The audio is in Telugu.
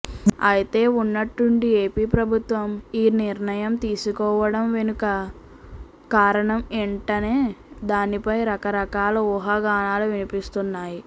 అయితే ఉన్నట్టుండి ఏపీ ప్రభుత్వం ఈ నిర్ణయం తీసుకోవడం వెనుక కారణం ఏంటనే దానిపై రకరకాల ఊహాగానాలు వినిపిస్తున్నాయి